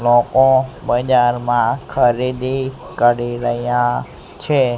લોકો બજારમાં ખરીદી કરી રહ્યા છે.